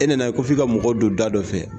E nana i ko f'i ka mɔgɔw don da dɔ fɛ